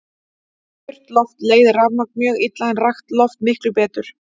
Þurrt loft leiðir rafmagn mjög illa en rakt loft miklu betur.